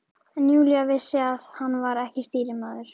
En Júlía vissi að hann var ekki stýrimaður.